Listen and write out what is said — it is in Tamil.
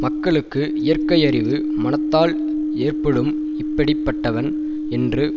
மக்களுக்கு இயற்கையறிவு மனத்தால் ஏற்படும் இப்படி பட்டவன் என்று